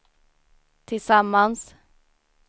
tillsammans